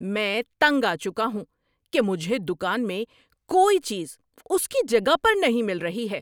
میں تنگ آ چکا ہوں کہ مجھے دکان میں کوئی چیز اس کی جگہ پر نہیں مل رہی ہے۔